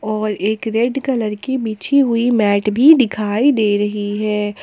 और एक red colour की बिछी हुई मैट भी दिखाई दे रही है।